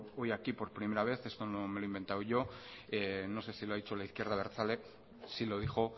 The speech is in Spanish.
hoy aquí por primera vez esto no me lo he inventado yo no sé si lo ha dicho la izquierda abertzale sí lo dijo